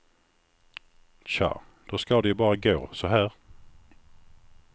Tja, då ska det ju bara gå så här.